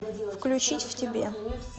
включить в тебе